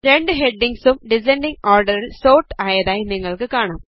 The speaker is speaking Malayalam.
രണ്ട് ഹെഡിംഗ്സും ഡിസൻഡിംഗ് ഓർഡറിൽ സോർട്ട ആയതായി നിങ്ങൾക്ക് കാണാം